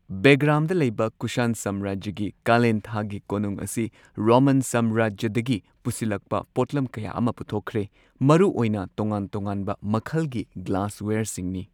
ꯕꯦꯒ꯭ꯔꯥꯝꯗ ꯂꯩꯕ ꯀꯨꯁꯥꯟ ꯁꯥꯝꯔꯥꯖ꯭ꯌꯒꯤ ꯀꯥꯂꯦꯟ ꯊꯥꯒꯤ ꯀꯣꯅꯨꯡ ꯑꯁꯤ ꯔꯣꯃꯟ ꯁꯥꯝꯔꯥꯖ꯭ꯌꯗꯒꯤ ꯄꯨꯁꯤꯜꯂꯛꯄ ꯄꯣꯠꯂꯝ ꯀꯌꯥ ꯑꯃ ꯄꯨꯊꯣꯛꯈ꯭ꯔꯦ ꯃꯔꯨꯑꯣꯏꯅ ꯇꯣꯉꯥꯟ ꯇꯣꯉꯥꯟꯕ ꯃꯈꯜꯒꯤ ꯒ꯭ꯂꯥꯁꯋꯦꯌꯔꯁꯤꯡꯅꯤ꯫